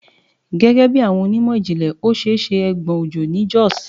Gẹgẹbi awọn onimọ-jinlẹ, o ṣee ṣe egbon ojo ni Jos